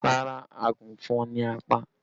Rárá, àgùnfọn ni a pa